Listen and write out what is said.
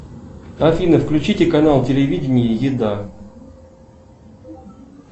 афина включите канал телевидения еда